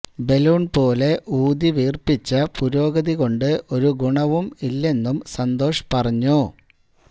balloon പോലെ ഉൌതി വീർപ്പിച്ച പുരോഗതി കൊണ്ടു ഒരു ഗുണവും ഇല്ലെന്നും സന്തോഷ് പറഞ്ഞു